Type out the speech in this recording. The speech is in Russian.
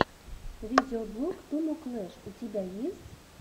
видеоблог туму клэш у тебя есть